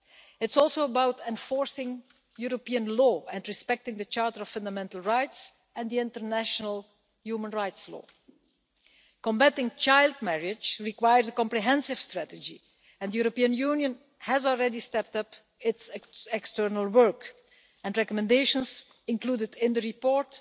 It is also about enforcing European law and respecting the Charter of Fundamental Rights and international human rights law. Combating child marriage requires a comprehensive strategy, and the European Union has already stepped up its external work and the recommendations included in the report